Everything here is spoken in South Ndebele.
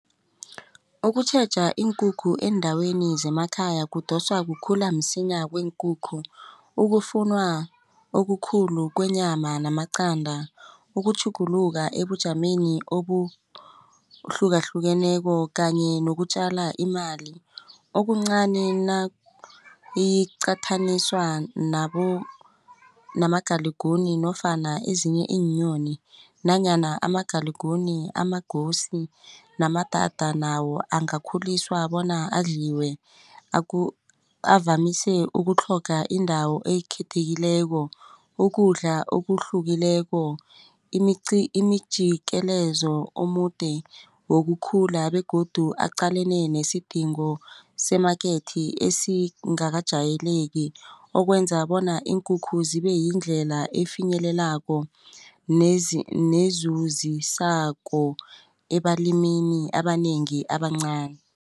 Ukutjheja iinkukhu eendaweni zemakhaya kudoswa kukhula msinya kweenkukhu ukufunwa okukhulu kwenyama namaqanda ukutjhuguluka ebujameni obuhlukahlukeneko kanye nokutjala imali. Okuncani nayiqathaniswa namagaliguni nofana ezinye iinyoni nanyana amagaliguni amagosi namadada nawo angakakhuliswa bona adliwe. Avamise ukutlhoga indawo ekhethekileko ukudla okuhlukileko imijikelezo omude wokukhula begodu aqalene nesidingo semakethi esingakajayeleki okwenza bona iinkukhu zibe yindlela efinyelelako nezuzisako ebalimini abanengi abancani.